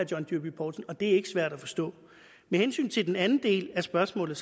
john dyrby paulsen og det er ikke svært at forstå med hensyn til den anden del af spørgsmålet